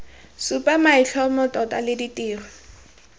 supa maitlhomo tota le ditiro